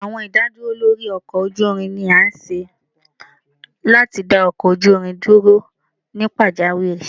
Awọn idaduro lori ọkọ oju irin ni a ṣe lati da ọkọ oju irin duro ni pajawiri.